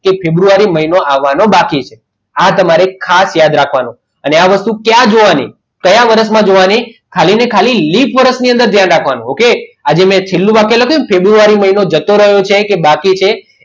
કે ફેબ્રુઆરી મહિનો આવવાનો બાકી છે આ તમારે ખાસ યાદ રાખવાનું અને આ વસ્તુ ક્યાં જોવાની કયા વર્ષમાં જોવાની ખાલી ખાલી લીપ વર્ષમાં ધ્યાન રાખવાનું કે આ મેં જે છેલ્લું વાક્ય લખ્યું કે ફેબ્રુઆરી મહિનો બાકી છે કે જતો રહ્યો